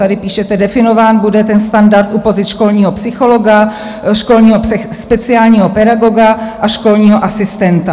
Tady píšete: "definován bude ten standard u pozic školního psychologa, školního speciálního pedagoga a školního asistenta".